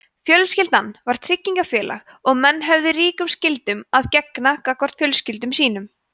fjölskyldan var tryggingafélag og menn höfðu ríkum skyldum að gegna gagnvart fjölskyldum sínum